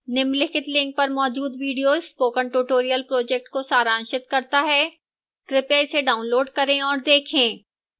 निम्नलिखित link पर मौजूद video spoken tutorial project को सारांशित करता है कृपया इसे डाउनलोड करें और देखें